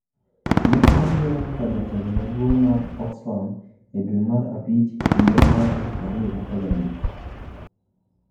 Ne oyiere kaka jatelo maduong' mar Oxfam e dwe mar abich higa mar 2013.